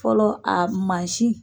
Fɔlɔ a masin